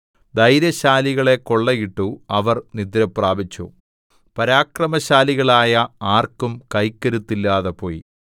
ധൈര്യശാലികളെ കൊള്ളയിട്ടു അവർ നിദ്രപ്രാപിച്ചു പരാക്രമശാലികളായ ആർക്കും കൈക്കരുത്തില്ലാതെ പോയി